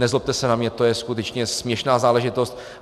Nezlobte se na mě, to je skutečně směšná záležitost.